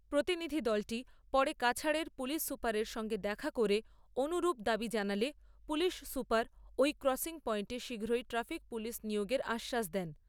প্রতিনিধিদলটি পরে কাছাড়ের পুলিশ সুপারের সঙ্গে দেখা করে অনুরূপ দাবী জানালে পুলিশ সুপার ঐ ক্রসিং পয়েন্টে শীঘ্রই ট্রাফিক পুলিশ নিয়োগের আশ্বাস দেন।